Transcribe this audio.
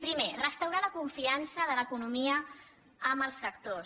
primer restaurar la confiança de l’economia en els sectors